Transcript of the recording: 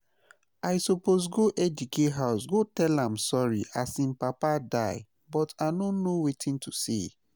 I suppose go Ejike house go tell am sorry as im papa die but I no know wetin to say